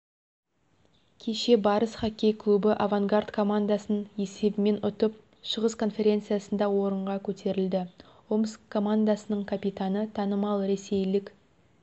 кеше барыс хоккей клубы авангард командасын есебімен ұтып шығыс конферецниясында орынға көтерілді омск командасының капитаны танымал ресейлік